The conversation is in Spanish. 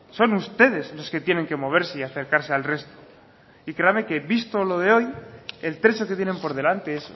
son ustedes lo que tienen que moverse y acercarse al resto y créame que visto lo de hoy el trecho que tienen por delante es